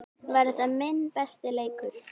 Var þetta minn besti leikur?